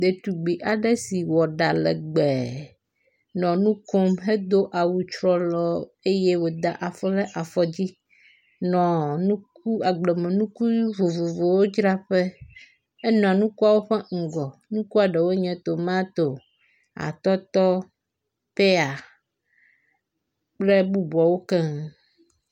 Ɖetugbi aɖe si wɔ ɖa legbe nɔ nu kom hedo awu trɔlɔ eye woda afɔ ɖe afɔ dzi nɔ nuku agblemenuku vovovowo dzraƒe. Enɔ nukuawo ƒe ŋgɔ. Nukua ɖewoe nye; tomato, atɔtɔ, peya kple bubuawo keŋ.